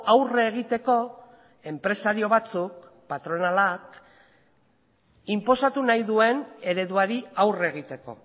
aurre egiteko enpresario batzuk patronalak inposatu nahi duen ereduari aurre egiteko